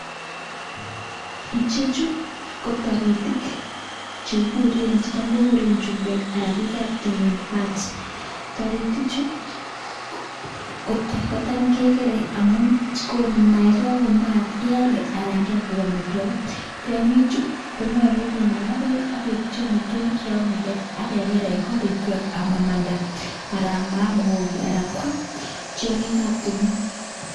Icheju ko toritik che tam kokuren chumbek anan bikab timin birds toritichu kotam kegere amun konu maayat. Ye kagokon maayat ialde anan kyam koik amitwogik. Tong'ichu konyolu kinaga beek ak keipchi amitwogik che yomege ak keger en korikwak amamanda anan ama am ng'ogik anan koam tiong'ik ab timin.